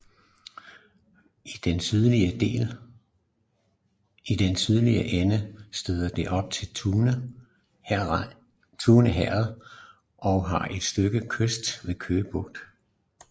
I den sydlige ende støder det op til Tune Herred og har et stykke kyst ved Køge Bugt